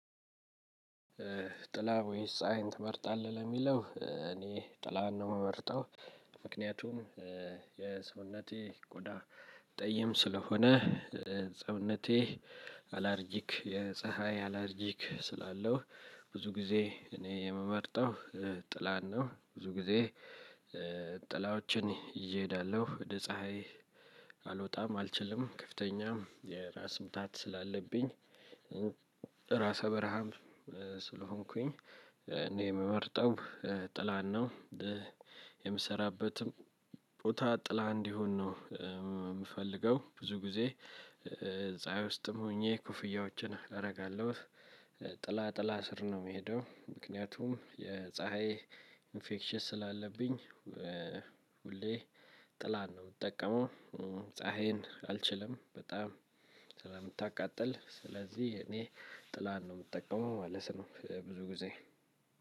ጥላ ወይስ ፀሀይን ትመርጣለህ ለሚለው እኔ ጥላን ነው የምመርጠው። ምክንያቱም የሰውነቴ ቆዳ ጠይም ስለሆነ ሰውነቴ አላርጂክ የፀሀይ አላርጂክ ስላለው ብዙ ጊዜ እኔ የምመርጠው ጥላን ነው። ብዙ ጊዜ ጥላዎችን ይዤ ሄዳለሁ ወደ ፀሀይ አልወጣም አልችልም ከፍተኛ የራስ ምታት ስላለብኝ። ራስ በረሃም ስለሆንኩኝ እኔ የምመርጠው ጥላን ነው። የምሰራበትም ቦታ ጥላ እንዲሆን ነው የምፈልገው ብዙ ጊዜ ፀሀይ ውስጥም ሆኜ ኮፍያዎችን አደርጋለሁ። ጥላ ጥላ ስር ነው የምሄደው። ምክንያቱም የፀሀይ ኢንፌክሽን ስላለብኝ። ሁሌ ጥላን ነው የምጠቀመው። ፀሀይን አልችልም በጣም ስለምታቃጥል ስለዚህ እኔ ጥላን ነው የምጠቀመው ማለት ነው። ብዙ ጊዜ